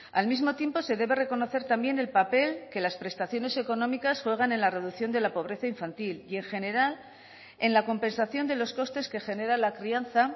al mismo tiempo se debe reconocer también el papel que las prestaciones económicas juegan en la reducción de la pobreza infantil y en general en la compensación de los costes que genera la crianza